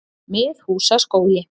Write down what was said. Miðhúsaskógi